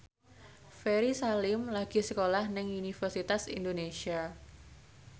Ferry Salim lagi sekolah nang Universitas Indonesia